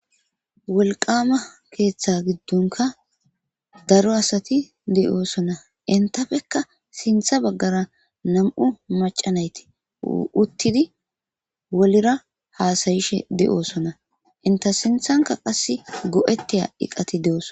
wolqama keeththa giddunka daro asati de7oosonna intafekka sintha baggara nam7u macanayti uttidi wolira haasayishe de7oosona inta sinthanka qass go7etiya iqati deos